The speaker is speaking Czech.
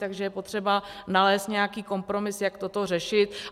Takže je potřeba nalézt nějaký kompromis, jak toto řešit.